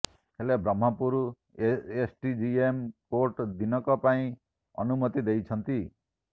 ହେଲେ Brahmapur SDJM court ଦିନକ ପାଇଁ ଅନୁମତି ଦେଇଛନ୍ତି